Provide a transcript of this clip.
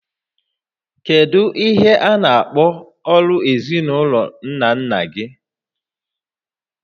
Kedu ihe a na-akpọ ọrụ ezinaụlọ nna nna gị?